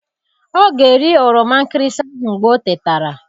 Ọ ga-eri oroma nkịrịsị ahụ mgbe ọ tetara.